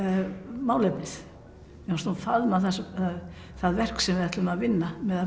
málefnið mér fannst hún faðma það verk sem við ætlum að vinna með